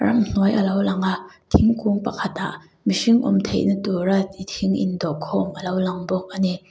ramhnuai alo lang a thingkung pakhatah mihring awm theih na tura thing in dawh khawm alo lang bawk ani.